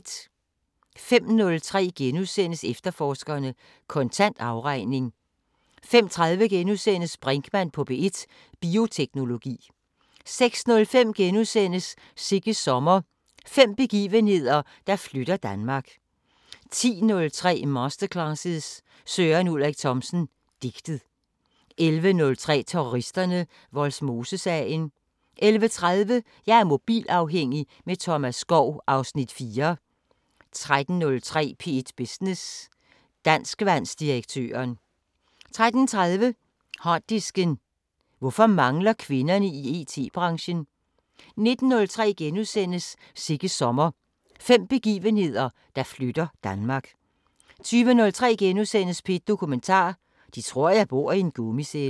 05:03: Efterforskerne: Kontant afregning * 05:30: Brinkmann på P1: Bioteknologi * 06:05: Sigges sommer – fem begivenheder, der flytter Danmark * 10:03: Masterclasses – Søren Ulrik Thomsen: Digtet 11:03: Terroristerne: Vollsmosesagen 11:30: Jeg er mobilafhængig – med Thomas Skov (Afs. 4) 13:03: P1 Business: Danskvandsdirektøren 13:30: Harddisken: Hvorfor mangler kvinderne i IT-branchen? 19:03: Sigges sommer – fem begivenheder, der flytter Danmark * 20:03: P1 Dokumentar: 'De tror jeg bor i en gummicelle' *